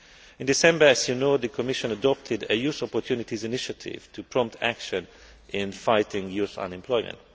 In December, as you know, the Commission adopted a youth opportunities initiative to prompt action in fighting youth unemployment.